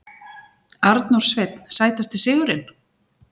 Arnór Sveinn Sætasti sigurinn?